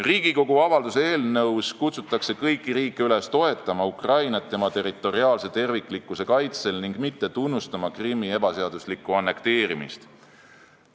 Riigikogu avalduse eelnõus kutsutakse kõiki riike üles toetama Ukrainat tema territoriaalse terviklikkuse kaitsel ning mitte tunnustama Krimmi ebaseaduslikku annekteerimist.